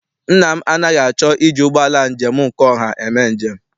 Nna m anaghị achọ iji ụgbọala njem nke ọha eme njem.